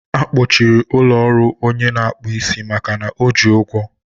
a kpọchiri ụlọ ọrụ ọnye na-akpụ isi makana o ji ụgwọ